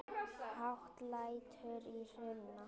Hátt lætur í Hruna